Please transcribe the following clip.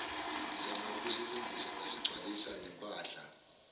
ngizama ukusilungisa ngasigcwalisanempahla